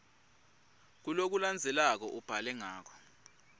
kulokulandzelako ubhale ngako